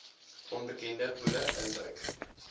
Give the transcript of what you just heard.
onbekende poele induik